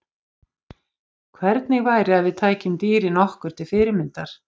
Hvernig væri að við tækjum dýrin okkur til fyrirmyndar?